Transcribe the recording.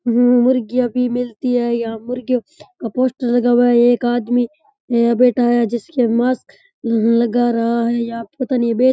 मुर्गियां भी मिलती है यहाँ मुर्गी का पोस्टर लगा हुआ है एक आदमी बैठा है जिसके मास्क लगा रा है या पता नहीं --